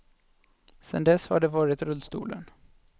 Sen dess har det varit rullstolen.